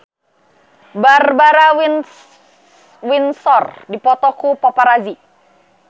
Barbara Windsor dipoto ku paparazi